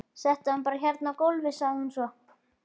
Settu hann bara hérna á gólfið, sagði hún svo.